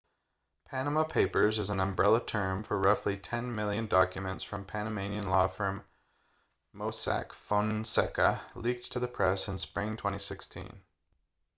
panama papers is an umbrella term for roughly ten million documents from panamanian law firm mossack fonseca leaked to the press in spring 2016